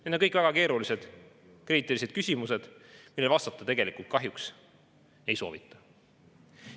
Need on kõik väga keerulised kriitilised küsimused, millele vastata tegelikult kahjuks ei soovita.